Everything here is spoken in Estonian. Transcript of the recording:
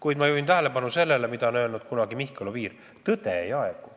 Samas ma juhin tähelepanu ühele asjale, mida on kunagi öelnud Mihkel Oviir: tõde ei aegu.